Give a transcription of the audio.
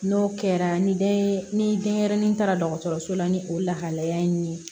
N'o kɛra ni bɛɛ ye ni denɲɛrɛnin taara dɔgɔtɔrɔso la ni o lahaliya in ye